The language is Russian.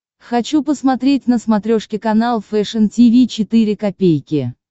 хочу посмотреть на смотрешке канал фэшн ти ви четыре ка